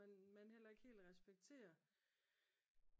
Man heller ikke helt respektere